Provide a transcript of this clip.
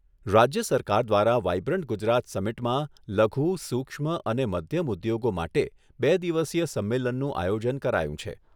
રાજ્ય સરકાર દ્વારા વાયબ્રન્ટ ગુજરાત સમિટમાં લઘુ, સુક્ષ્મ અને મધ્યમ ઉદ્યોગો માટે બે દિવસીય સંમેલનનું આયોજન કરાયું છે.